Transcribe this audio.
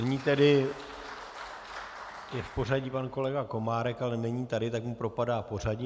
Nyní tedy je v pořadí pan kolega Komárek, ale není tady, tak mu propadá pořadí.